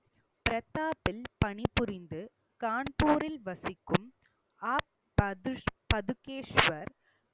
பிரதாப்பில் பணிபுரிந்து, கான்பூரில் வசிக்கும் ஆபது பதுஸ்~ பதுகேஸ்வர்